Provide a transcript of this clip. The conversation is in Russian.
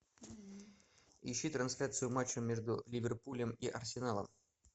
ищи трансляцию матча между ливерпулем и арсеналом